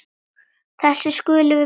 Þessu skulum við breyta núna.